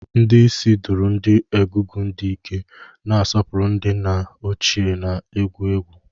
Ndi isii duru ndi Egungun di Ike, na-asọpụrụ ndị nna ochie na egwu egwu.